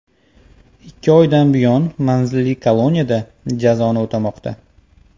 Ikki oydan buyon manzilli koloniyada jazoni o‘tamoqda.